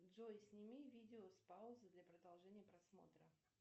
джой сними видео с паузы для продолжения просмотра